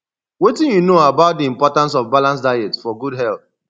wetin you know about di importance of balanced diet for good health